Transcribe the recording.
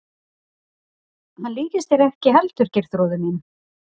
Hann líktist þér ekki heldur Geirþrúður mín.